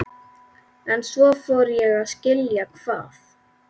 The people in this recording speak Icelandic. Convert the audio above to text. En svo fór ég að skilja hvað